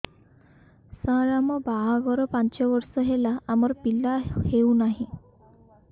ସାର ଆମ ବାହା ଘର ପାଞ୍ଚ ବର୍ଷ ହେଲା ଆମର ପିଲା ହେଉନାହିଁ